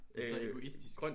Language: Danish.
Det så egoistisk